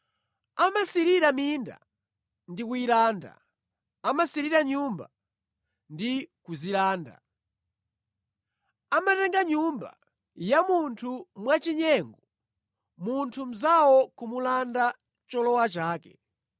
Amasirira minda ndi kuyilanda, amasirira nyumba ndi kuzilanda. Amatenga nyumba ya munthu mwachinyengo, munthu mnzawo kumulanda cholowa chake.